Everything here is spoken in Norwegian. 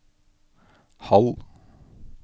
halv